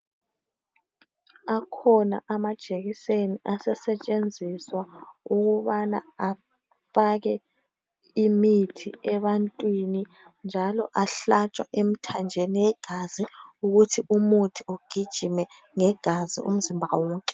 Akhona amajekiseni asesetshenziswa ukubana afake imithi ebantwini njalo ahlatshwa emthanjeni egazi ukuthi umuthi ugijime ngegazi umzimba wonke.